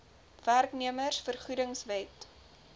werknemers vergoedings wet